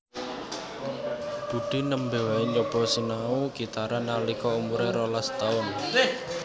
Budi nembe wae nyoba sinau gitaran nalika umuré rolas taun